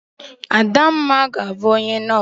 Adamma ga-abu onye nos.